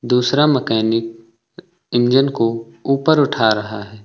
दूसरा mechanic engine को ऊपर उठा रहा है।